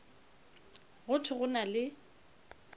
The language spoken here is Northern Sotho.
go thwe go na le